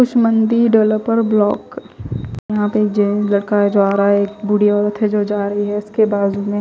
कुछ मंडी developer block यहां पे एक जैन लड़का जा रहा है एक बूढ़ी औरत है जो जा रही है उसके बाजू में--